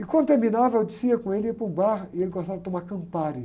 E quando terminava, eu descia com ele e ia para o bar e ele gostava de tomar Campari.